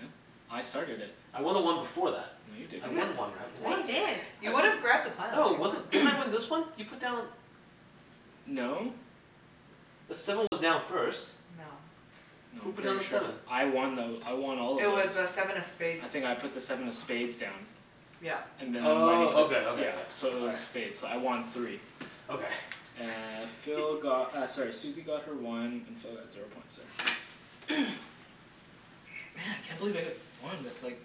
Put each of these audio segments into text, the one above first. Yeah, I started it. I won the one before that. No, you I didn't. won one round, No, what? you didn't You would've grabbed the No, pile. it wasn't, didn't I win this one? You put down No. The seven was down first. No. No, Who I'm put down pretty the sure seven? I won though, I won all of It those. was uh seven of spades I think I put the seven of spades down. Yeah. And Wenny Oh put Okay, okay, yeah yeah. So it was spades, so I won three Okay. Uh, Phil got uh sorry Susie got her one, and Phil got zero points there. Man! Can't believe I got one with like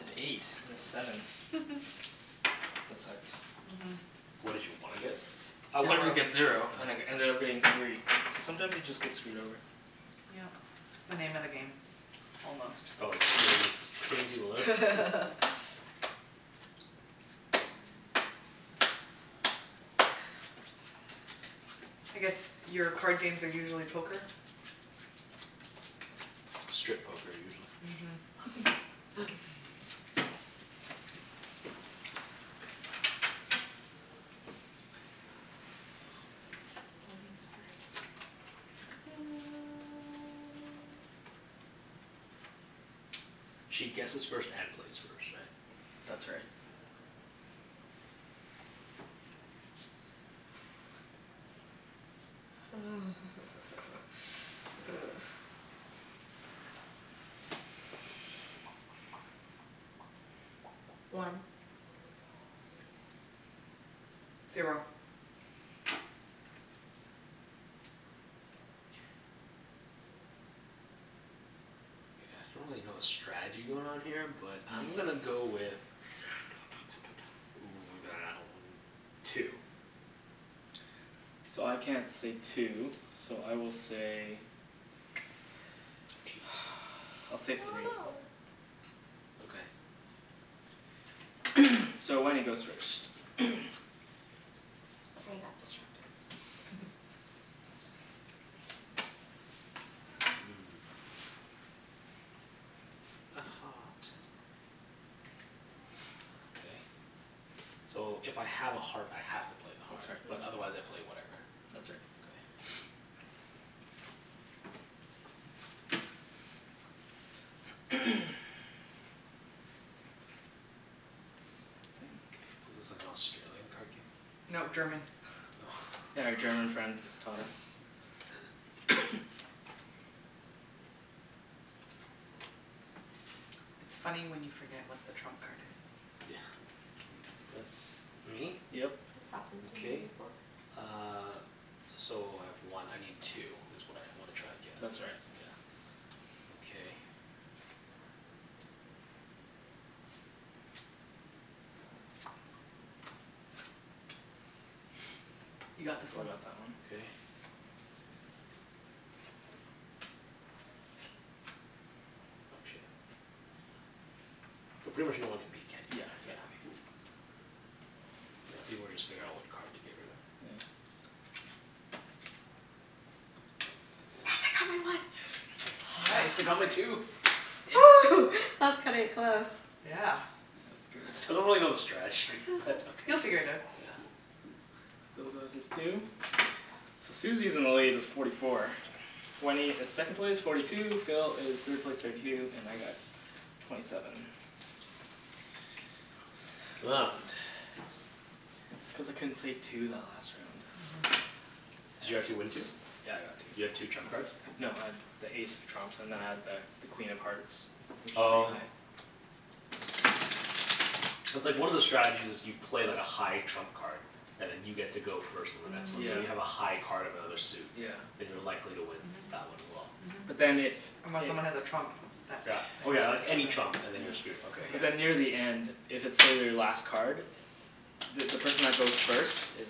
an eight and a seven. That sucks. Mhm. What did you wanna get? I wanted to get Zero. zero, and it ended up being three. So sometimes you just get screwed over. Yeah. It's the name of the game, almost. Oh, it's pretty, pretty low. I guess your card games are usually poker? Strip poker, usually. Mhm She guesses first and plays first, right? That's right. One. Zero. K, I acutally don't really know the strategy going on here but I'm gonna go with two. So I can't say two, so I will say, I'll say three. Okay. So Wenny goes first Sorry, I got distracted. Okay. So if I have a heart I have to play the That's heart. But right. otherwise I play whatever. That's right. Okay. So this is like Australian card game? No, German. Yeah, our German friend taught us. It's funny when you forget what the trump card is. Yeah. That's me? Yep. Okay uh, so I have one. I need two, it's what I wanna try and get. That's right Yeah, okay. You So got this Phil one. got that one. Okay. Oh shoot. I pretty much know I wanna beat Kenny. Yeah, exactly. Yeah, people were just figuring out what card to get rid of. Yeah. Yes, I got my one Nice. Nice, I got my two! that's cutting it close. Yeah. That's I still don't good. really know the strategy, but okay. You'll figure it out. Yeah. Phil got his two, so Susie is in the lead with forty four, Wenny is second place, forty two, Phil is third place, thirty two, and I got twenty seven. It's cuz I couldn't say two that last round. Did you actually win two? Yeah, I got two. You got two trump cards? No, I had the ace of trumps and then I had the the Queen of Hearts which is pretty Oh. high. Cuz like one of the strategies is you play like a high trump card and then you get to go first and Yeah. so you Mhm. have a high card of another suit, Yeah then you're likely to win Mhm. that one as well. Mhm. But then if Unless someone has a trump that Yeah. Oh yeah, like any trump and then you're screwed, okay But yeah. then near the end, if it's say, their last card, the the person that goes first is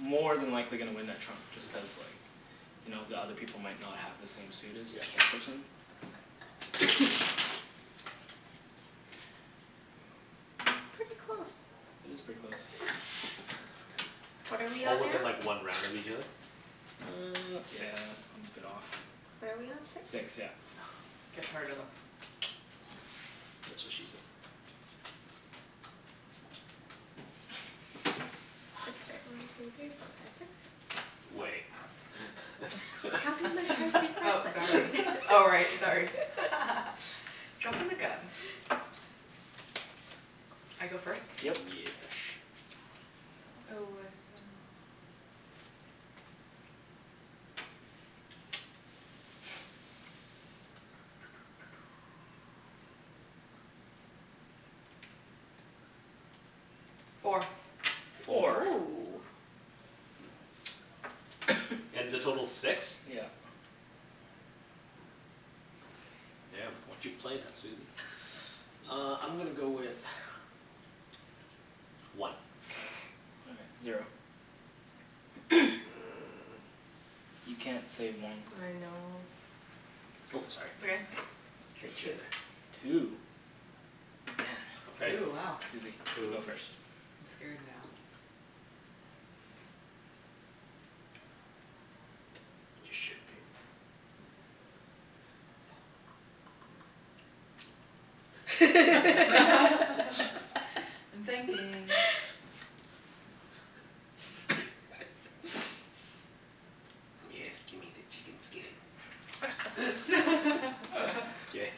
more than likely gonna win that trump just cuz like you know the other people might not have the same suit as that person. Pretty close. It is pretty close. What are we Oh on now? within like one round of each other? Uh, Six yeah I'm a bit off. What are we on? Six? Six, yeah. That's what she said. Six, right. one two three four five six Wait Oh sorry, oh right, sorry. Jumpin' the gun. I go first? Yep Yesh Four Four?! Woo. And the total's six? Yeah. Damn, what you playin' there, Susie. Uh I'm gonna go with one. All right, zero. You can't say I one know Oh, It's sorry. okay. K two. Two?! Damn Two, wow Susie, you go first I'm scared now. You should be. I'm thinking. Yes, gimme the chicken skin. K,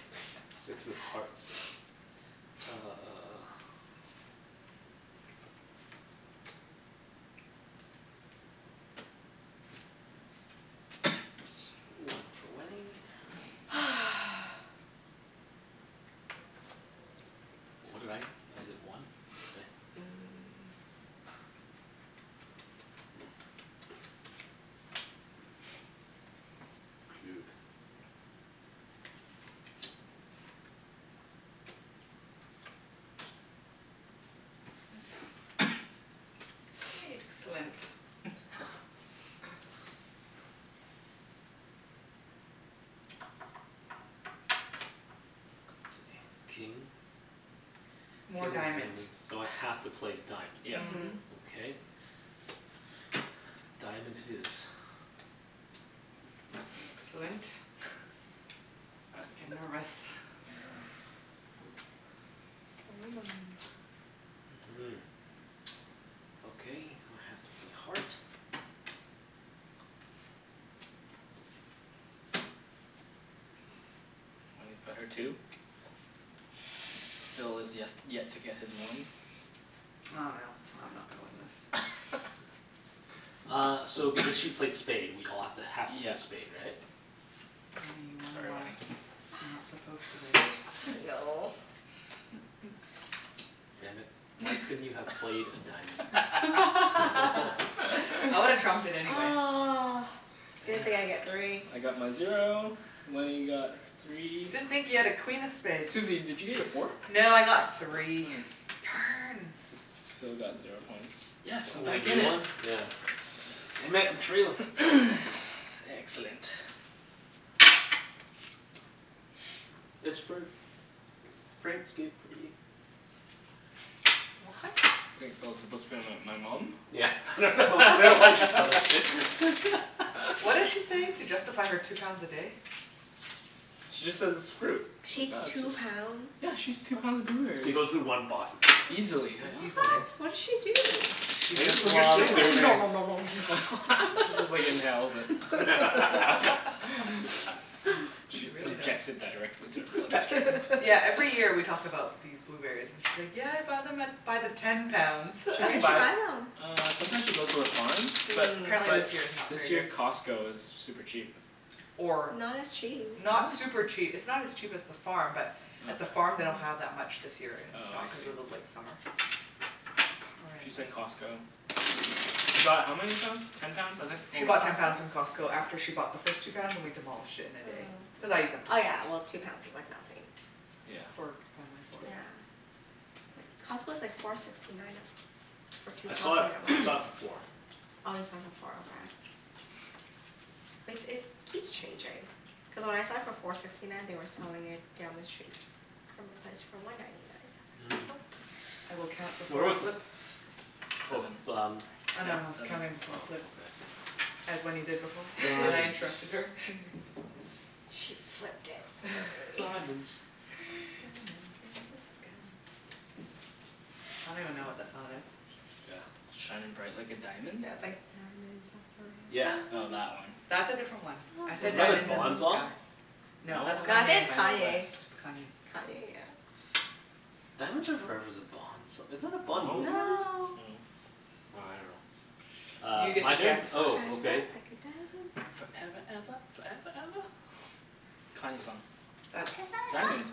six of hearts. Uh One for Wenny. What did I? I did one, okay Excellent. King? More diamond So I have to play Yep diamond. Mhm. Okay. Diamond it is. Excellent. I'm nervous. Mm. Okay, now I have to play heart. Wenny's got her two. Phil has yes, yet to get his one I dunno, I'm not gonna win this. Uh, so if because she played spade we all have to, have to Yeah play spade, right? Sorry, Wenk. Wenk You're not supposed to win No. Damn it, why couldn't you have played a diamond. I would've trumped it anyway. Ugh, didn't think I'd get three I got my zero, Wenny got three Didn't think you had a queen of spades Susie, did you get your four? No, I got three. Nice. S- Darn! so Phil got zero points. Yes! So I'm only back in you it! won? Yeah. Damn it, I'm trailin'. Excellent. It's fruit. Fruit's good for you. What? I think Phil's supposed to be my- my mom? Yeah, I dunno, I dunno why I just thought of What did she say? To justify her two pounds a day? She just says it's fruit. She eats two pounds? Yeah, she eats two pounds of She blueberries. goes through one box. Easily, yeah. What? What did she do? I guess, when you're sitting there you just nom nom nom nom nom She just like inhales it. She injects it directly into her bloodstream Yeah every year we talk about these blueberries and she's like yeah I bought them at, by the ten pounds. She Where can did she buy, buy them? uh sometimes she goes to the farm But But Mm. apparently but this year is not very this year good. Costco is super cheap. Or Not as cheap Not super Really? cheap, it's not as cheap as the farm but at the farm they don't have that much this year in Oh I stock, see. cuz of the late summer. She said Costco, she she bought how many pounds? Ten pounds I think, oh She bought ten pounds from Costco after she bought the first two pounds and we demolished it in a day. Cuz Oh. I ate them too. Oh yeah well two pounds is like nothing Yeah. Yeah. It's like, Costco's like four sixty nine a- for two I saw pounds it, when I I went. saw it for four. Oh you saw it for four, okay. Like it keeps changing. Cuz when I saw it for four sixty nine they were selling it down the street from a place for one ninety nine. So I was like, Where was this? nope. Oh Seven, f- um. yeah seven As Wenny did before but I Diamonds interrupted her. She flipped it for me. Diamonds Diamonds in the sky I don't even know what that song is Yeah. Shining bright like a diamond? Yeah, it's like, "Diamonds are Yeah forever." Oh, that one That's a different one. I Was said that a "diamonds in the Bond song? sky". No, No, I think it's it's Kanye West. Kanye. It's Kanye Kanye, yeah. Diamonds are forever's a bond song, isn't that a Bond movie? No. No. Well, I dunno Uh, my turn? Oh okay. Foreva eva, foreva eva. Kanye song That's Diamond.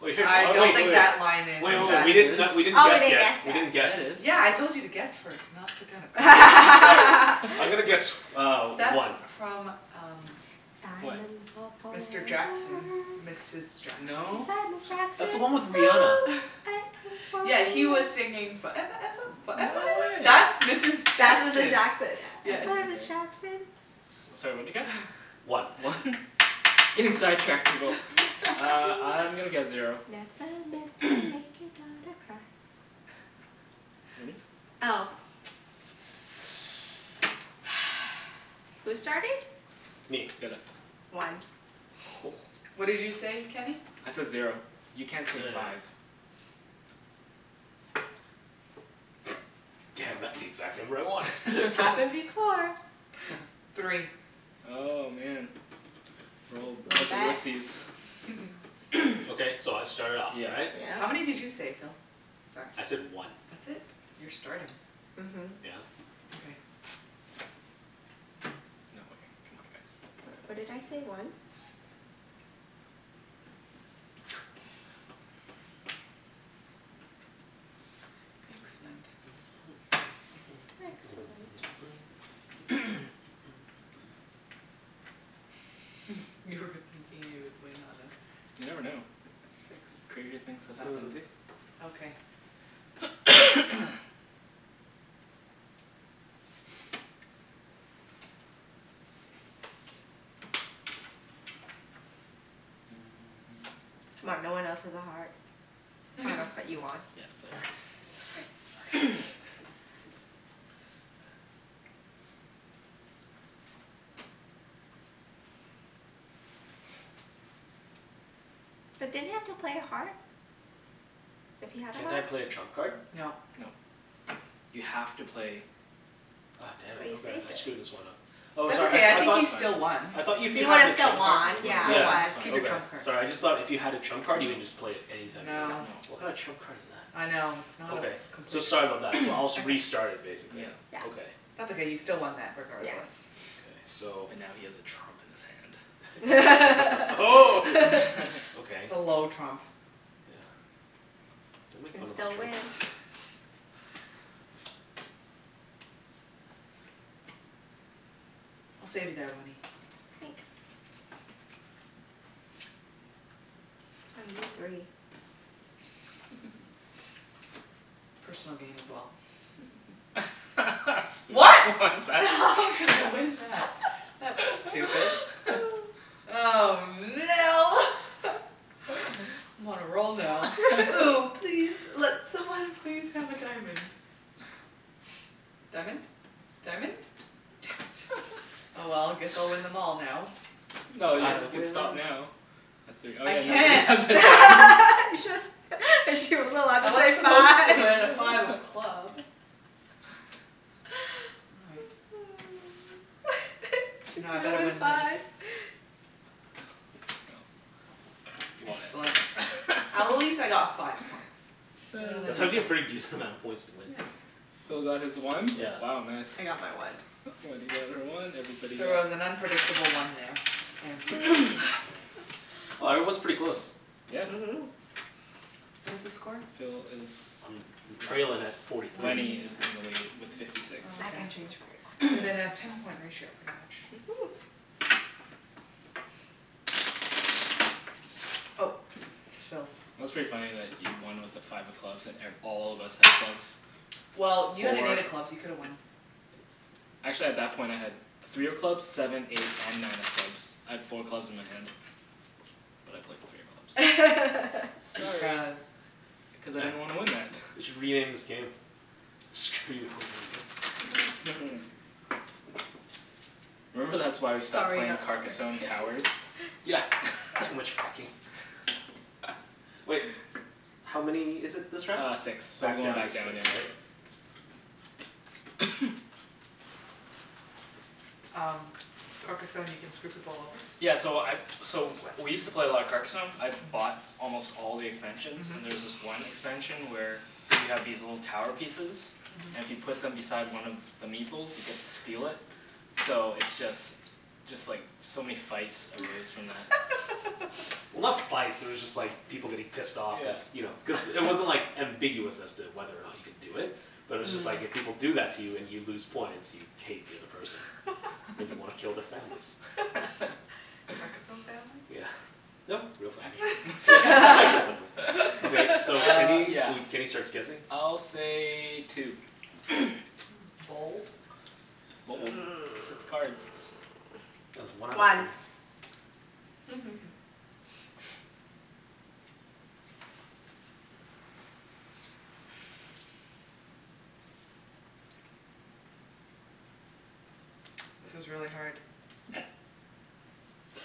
Wait, I oh don't wait, think oh that line wait. is Wait wait in wait, that we didn't not, we s- didn't Oh we guess didn't yet. guess We yet didn't guess. Yeah, Yeah, I it is told you to guess first not put down. I'm gonna guess uh That's one. from um Diamonds are Mr forever Jackson, Mrs Jackson I'm No? sorry, That's Ms the one with Jackson. Rihanna. Yeah, he was singing "foreva eva foreva No eva." That's way! Mrs That's Mrs Jackson Jackson yeah. I'm sorry, Ms Jackson. Sorry, what'd you guess? One. One? Getting sidetracked, people. Uh, I'm gonna guess zero. Wenny? Oh. Who's starting? Me. Philip. One. Whoa. What did you say, Kenny? I said zero. You can't say five. Damn, that's the exact number I wanted. It's happened before. Three Oh, man. Okay, so I start it off, Yeah. right? Yeah. How many did you say, Phil? I said one. That's it? You're starting. Mhm. Yeah. No way. C'mon guys What did I say, one? Excellent. Excellent. You were thinking you would win on a- You never know. Crazier things have happened. C'mon, no one else has a heart. I dunno, but you won. Sweet! Okay But didn't you have to play a heart? If you had a Can't I heart? play a trump card? No. No. You have to play Oh damn But it, you okay, saved I it screwed this one up. Oh That's sorry, okay I I I think thought you still won I thought if you He have would've the still trump card won, yeah Yeah, Yeah. it's Keep your Okay, trump fine card sorry, I just thought if you had a trump card you can just play it anytime you want. No What kind of No trump card is that? I know, it's not a Okay, f- so complete sorry trump- about that. So I'll s- restart it basically. Yeah. That's okay you still won that Yes. regardless. Okay so But now he has a trump in That's his hand okay Oh. Okay. It's a low trump Yeah, don't You make can fun of my still trump. win. I'll save you there Wenny. Thanks. Oh, you need three. Personal gain as well. What?! what is that? That's stupid. Oh no! I'm on a roll now. Oh please, let someone please have a diamond. Diamond? Diamond? Damn it, oh well, guess I'll win them all now. No, you you can stop now, at three Oh I yeah, nobody has can't. a diamond You just, she wasn't allowed to I say was supposed five to win at five of club. She's Now I gonna better win win this. five Yep, you won Excellent. At least I it. got five points That's actually a pretty decent amount of points to win. Phil got his one Yeah. Wow nice. I got my one. Wenny got her one, everybody She got was an unpredictable one there. Wow, everyone's pretty close. Yeah. Mhm. What is the score? Phil is I'm trailin' at forty three. Wenny is in the lead with fifty six. Within a ten point ratio Mhm. Oh, Phil's. It was pretty funny that you won with a five of clubs at and all of us had clubs, Well, you had four a clubs. You could've won. Actually at that point I had three of clubs, seven, eight and nine of clubs. I had four clubs in my hand, but I played three of clubs Sorry Cuz I didn't want to win that They should rename this game. Screw you over game. Remember that's why we stopped playing Carcassonne Towers? Yeah, too much fucking. Wait, how many is it this round? Uh six, so we're Back going down to back down six, yeah. right? Um, Carcassonne can screw people over? Yeah so I so we used to play a lot of Carcasonne, I bought almost all the expansions, and there's this one expansion where you have these little tower pieces, and if you put them beside one of the Meeple's you get to steal it. So it's just, just like so many fights arose from that. Well, not fights, they were just like people getting pissed off. Cuz you know, cuz Yeah it wasn't like ambiguous as to whether or not you can do it, but it's just like if people do that to you and you lose points, you'd hate the other person. And you wanna kill their families. Carcasonne families? Yeah. No, real families Okay, so Uh Kenny, yeah we Kenny starts guessing I'll say two. Six cards. One This is really hard. That's what she said.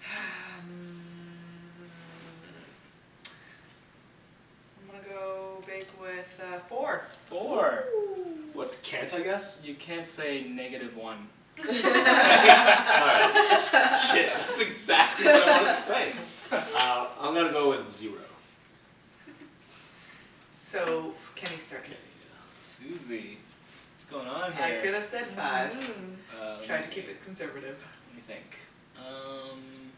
Hum, I'm gonna go big with uh four. Four Woo. What can't I guess? You can't say negative one. All right, shit, that's exactly what I wanted to say! Uh, I'm gonna go with zero. So Kenny start, k Susie, what's going on I here could've said five Mm. Uh lemme Try to keep see it conservative. Lemme think, um